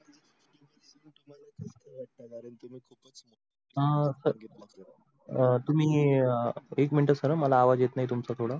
अं sir संगितल अं तुम्ही एक मिंट sir मला आवाज येत नाही तुमच थोड